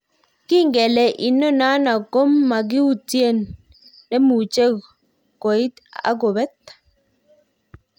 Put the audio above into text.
Kinge kele inonano ko ma kuiten nemuche kuit ak kopet.